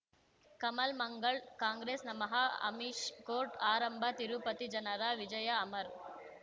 ಕಮಲ್ ಮಂಗಳ್ ಕಾಂಗ್ರೆಸ್ ನಮಃ ಅಮಿಷ್ ಕೋರ್ಟ್ ಆರಂಭ ತಿರುಪತಿ ಜನರ ವಿಜಯ ಅಮರ್